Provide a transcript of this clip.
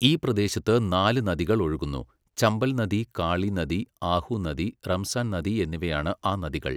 ഈ പ്രദേശത്ത് നാല് നദികൾ ഒഴുകുന്നു. ചമ്പൽ നദി, കാളി നദി, ആഹു നദി, റംസാൻ നദി എന്നിവയാണ് ആ നദികൾ.